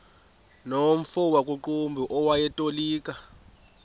nomfo wakuqumbu owayetolika